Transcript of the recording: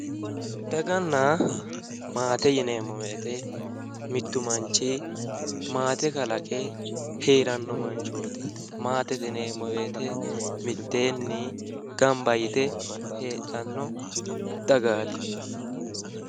Daganna maate yineemmo woyte mittu manchi maate kalaqe heeranno manchooti maatete yineemmo woyte mitteenni gamba yite heedhanno dagaati